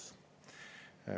" Vastus.